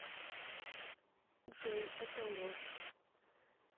джой это ложь